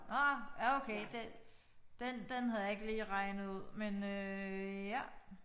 Nåh ja okay det den den havde jeg ikke lige regnet ud men øh ja